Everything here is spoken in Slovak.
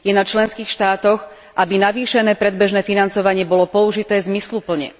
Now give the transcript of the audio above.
Je na členských štátoch, aby navýšené predbežné financovanie bolo použité zmysluplne.